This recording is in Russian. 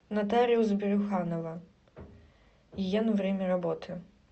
нотариус брюханова ен время работы